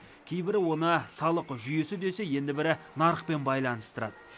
кейбірі оны салық жүйесі десе енді бірі нарықпен байланыстырады